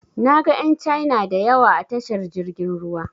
Na ga ƴan Caina da yawa a tashar jirgin ruwa.